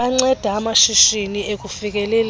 banceda amashishini ekufikeleleni